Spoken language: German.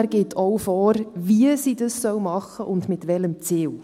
Er gibt auch vor, wie sie das machen soll und mit welchem Ziel.